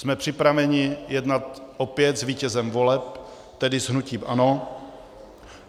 Jsme připraveni jednat opět s vítězem voleb, tedy s hnutím ANO.